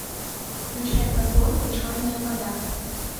включай подборку черная вода